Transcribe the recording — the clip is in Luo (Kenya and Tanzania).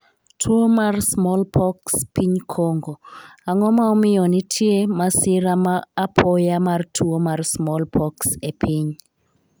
tuo mar small pox piny Kongo:ang'o ma omiyo nitie masira ma apoya mar tuo mar small pox e piny?